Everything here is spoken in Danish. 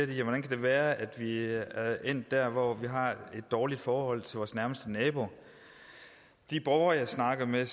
de hvordan kan det være at vi er endt der hvor vi har et dårligt forhold til vores nærmeste naboer de borgere jeg snakker med